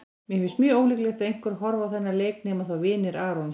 Mér finnst mjög ólíklegt að einhver horfi á þennan leik nema þá vinir Arons.